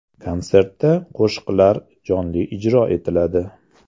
Konsertda qo‘shiqlar jonli ijro etiladi.